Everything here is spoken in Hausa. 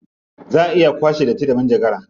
Za a iya kwace datti da manjagara.